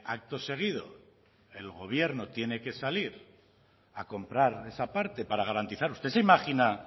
acto seguido el gobierno tiene que salir a comprar esa parte para garantizar usted se imagina